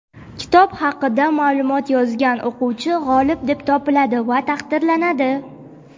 kitob haqida ma’lumot yozgan o‘quvchi g‘olib deb topiladi va taqdirlanadi.